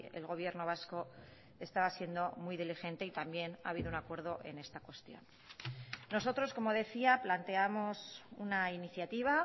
el gobierno vasco estaba siendo muy diligente y también ha habido un acuerdo en esta cuestión nosotros como decía planteamos una iniciativa